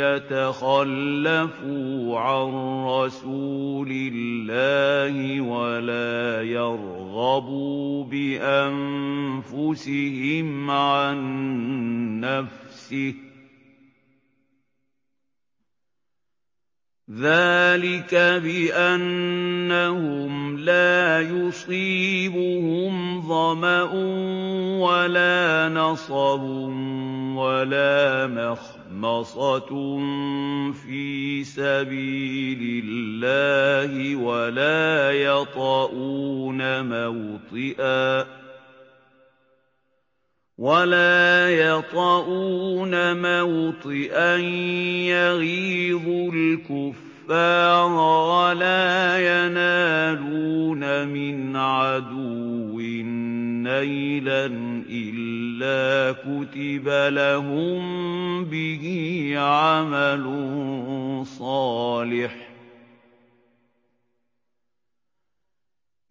يَتَخَلَّفُوا عَن رَّسُولِ اللَّهِ وَلَا يَرْغَبُوا بِأَنفُسِهِمْ عَن نَّفْسِهِ ۚ ذَٰلِكَ بِأَنَّهُمْ لَا يُصِيبُهُمْ ظَمَأٌ وَلَا نَصَبٌ وَلَا مَخْمَصَةٌ فِي سَبِيلِ اللَّهِ وَلَا يَطَئُونَ مَوْطِئًا يَغِيظُ الْكُفَّارَ وَلَا يَنَالُونَ مِنْ عَدُوٍّ نَّيْلًا إِلَّا كُتِبَ لَهُم بِهِ عَمَلٌ صَالِحٌ ۚ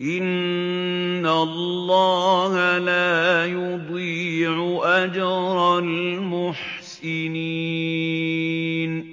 إِنَّ اللَّهَ لَا يُضِيعُ أَجْرَ الْمُحْسِنِينَ